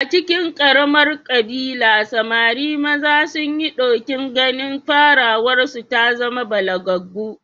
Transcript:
A cikin ƙaramar ƙabila, samari maza sun yi ɗokin ganin farawarsu ta zama balagaggu